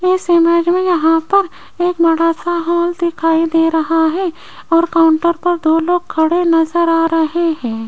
इस इमेज में यहां पर एक बड़ा सा हॉल दिखाई दे रहा है और काउंटर पर दो लोग खड़े नजर आ रहे हैं।